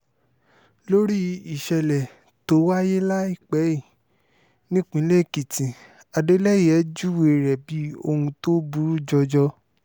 lórí ìṣẹ̀lẹ̀ tó wáyé láìpẹ́ yìí nípìnlẹ̀ èkìtì adeleye júwe rẹ̀ bíi ohun tó burú jọjọ